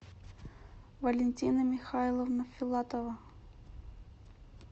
валентина михайловна филатова